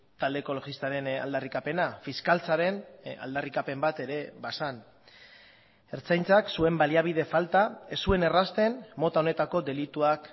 talde ekologistaren aldarrikapena fiskaltzaren aldarrikapen bat ere bazen ertzaintzak zuen baliabide falta ez zuen errazten mota honetako delituak